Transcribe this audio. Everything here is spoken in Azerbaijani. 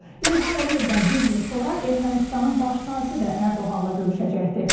İlham Əliyevdən bir gün sonra Ermənistanın baş naziri də Ərdoğanla görüşəcəkdi.